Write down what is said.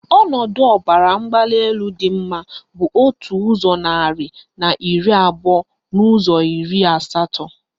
Ọnọdụ ọbaramgbalịelu dị mma bụ otu ụzọ narị na iri abụọ n' ụzọ iri asatọ.